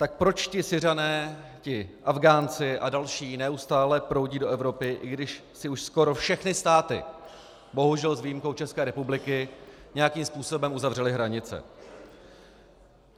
Tak proč ti Syřané, ti Afghánci a další neustále proudí do Evropy, i když si už skoro všechny státy, bohužel s výjimkou České republiky, nějakým způsobem uzavřely hranice?